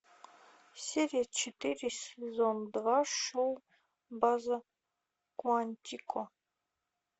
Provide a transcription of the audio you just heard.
серия четыре сезон два шоу база куантико